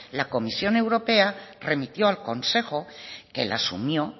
la comisión europea remitió al consejo que la asumió